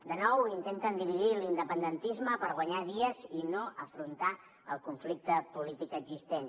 de nou intenten dividir l’independentisme per guanyar dies i no afrontar el conflicte polític existent